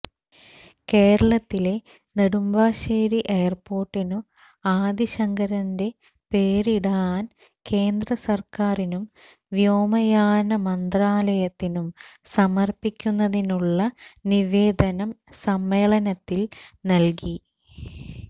കേരളത്തിലെ നെടുമ്പാശ്ശേരി എയര്പോര്ട്ടിനു ആദി ശങ്കരന്റെ പേരിടാന് കേന്ദ്രസര്ക്കാരിനും വേ്യാമയാന മന്ത്രാലയത്തിനും സമര്പ്പിക്കുന്നതിനുള്ള നിവേദനം സമ്മേളനത്തില് നല്കി